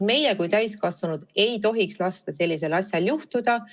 Meie kui täiskasvanud ei tohiks lasta sellisel asjal juhtuda.